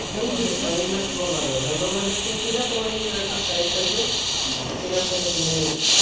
Invest না invest বলা যায়না, domain hosting কিনা তোমার নিজের একটা site থাকবে সেখান থেকে তুমি